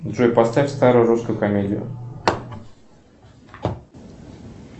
джой поставь старую русскую комедию